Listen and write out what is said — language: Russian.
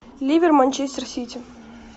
ливер манчестер сити